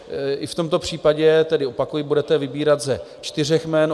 I v tomto případě tedy opakuji, budete vybírat ze čtyř jmen.